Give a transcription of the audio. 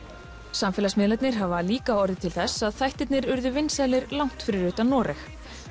samfélagsmiðlarnir hafa líka orðið til þess að þættirnir urðu vinsælir langt fyrir utan Noreg